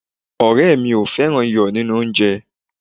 ọrẹ mi o fẹràn iyo ninu onje